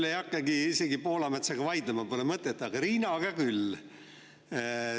Nüüd ma isegi ei hakka Poolametsaga vaidlema, pole mõtet, aga Riinaga küll.